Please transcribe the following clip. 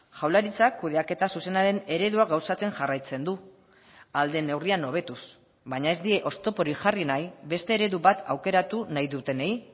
jaurlaritzak kudeaketa zuzenaren eredua gauzatzen jarraitzen du ahal den neurrian hobetuz baina ez die oztoporik jarri nahi beste eredu bat aukeratu nahi dutenei